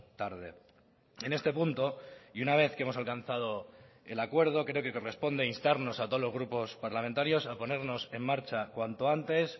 tarde en este punto y una vez que hemos alcanzado el acuerdo creo que corresponde instarnos a todos los grupos parlamentarios a ponernos en marcha cuanto antes